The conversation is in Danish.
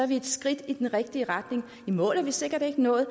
vi et skridt i den rigtige retning i mål er vi sikkert ikke nået